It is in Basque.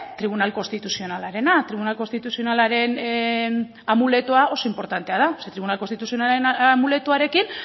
tribunal konstituzionalarena tribunal konstituzionalaren amuletoa oso inportantea da ze tribunal konstituzionalaren amuletoarekin